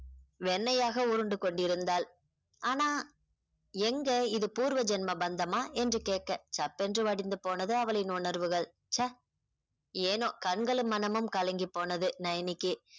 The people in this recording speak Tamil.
வெண்ணையாக உருண்டு கொண்டிருந்தாள் ஆனா எங்க இது பூர்வ ஜென்ம பந்தமா என்று கேட்க சப்பென்று வடிந்து போனது அவளின் உணர்வுகள் ச்சே ஏனோ கண்களும் மனமும் கலங்கி போனது நயனிக்கு